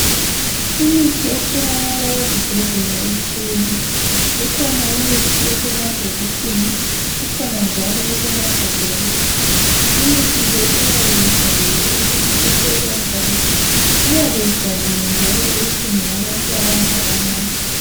Imithi etholakala ezibhedlela itshiyene ikhona imithi esemabhokisini ikhona njalo esemagabheni. Imithi le iyabe ibhaliwe ukuthi isebenzani iyabe ibhaliwe njalo ukuthi ngeyabantu abanganani.